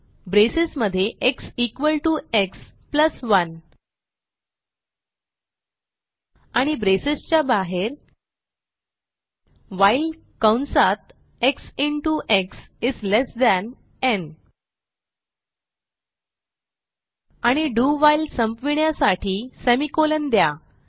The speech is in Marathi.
ब्रेसेस मध्ये x equal to x plus 1 आणि ब्रेसेस च्या बाहेर व्हाईल कंसात एक्स इंटो एक्स इस ठेण न् आणि do व्हाईल संपविण्यासाठी semi कॉलन द्या